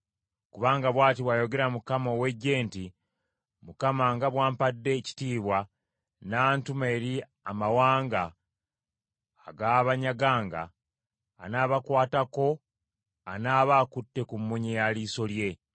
Kubanga bw’ati bw’ayogera Mukama ow’Eggye nti, “ Mukama nga bw’ampadde ekitiibwa n’antuma eri amawanga agaabanyaganga, anaabakwatako anaaba akutte ku mmunye ya liiso lye.